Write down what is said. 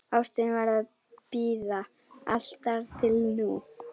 Ástin varð að bíða, allt þar til nú.